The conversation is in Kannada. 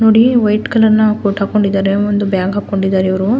ನೋಡಿ ವೈಟ್ ಕಲರ್ನ ಕೋಟು ಹಾಕೊಂಡಿದ್ದಾರೆ ಒಂದು ಬ್ಯಾಗ್ ಹಾಕೊಂಡಿದ್ದಾರೆ ಇವ್ರು--